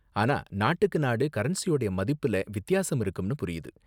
ஆனா நாட்டுக்கு நாடு கரன்சியோட மதிப்புல வித்தியாசம் இருக்கும்னு புரியுது.